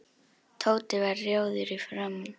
Tóti varð rjóður í framan.